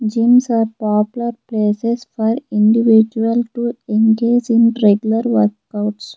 gyms are popular places for individual to engage in regular workouts.